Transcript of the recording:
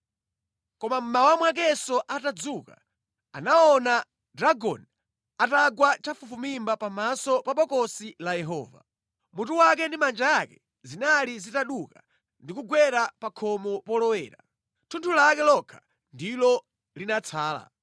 Koma mmawa mwakenso atadzuka, anaona Dagoni atagwa chafufumimba pamaso pa Bokosi la Yehova. Mutu wake ndi manja ake zinali zitaduka ndi kugwera pa khonde polowera, thunthu lake lokha ndilo linatsala.